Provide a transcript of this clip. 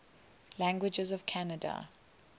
languages of canada